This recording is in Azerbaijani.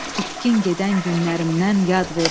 İtkin gedən günlərimdən yad verər.